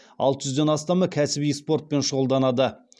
алты жүзден астамы кәсіби спортпен шұғылданады